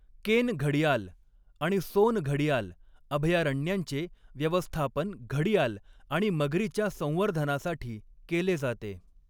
केन घडियाल आणि सोन घडियाल अभयारण्यांचे व्यवस्थापन घडियाल आणि मगरीच्या संवर्धनासाठी केले जाते.